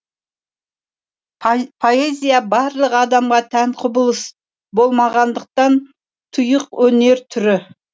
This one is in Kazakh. поэзия барлық адамға тән құбылыс болмағандықтан тұйық өнер түрі